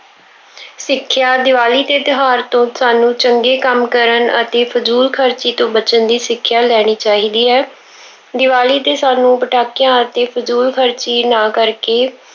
ਸਿੱਖਿਆ- ਦੀਵਾਲੀ ਦੇ ਤਿਉਹਾਰ ਤੋਂ ਸਾਨੂੰ ਚੰਗੇ ਕੰਮ ਕਰਨ ਅਤੇ ਫਜ਼ੂਲ ਖਰਚੀ ਤੋਂ ਬਚਣ ਦੀ ਸਿੱਖਿਆ ਲੈਣੀ ਚਾਹੀਦੀ ਹੈ। ਦੀਵਾਲੀ ਤੇ ਸਾਨੂੰ ਪਟਾਕਿਆਂ ਅਤੇ ਫਜ਼ੂਲ ਖਰਚੀ ਨਾ ਕਰਕੇ